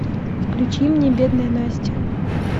включи мне бедная настя